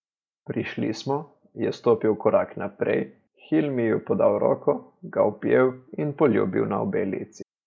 Prišli smo, je stopil korak naprej, Hilmiju podal roko, ga objel in poljubil na obe lici.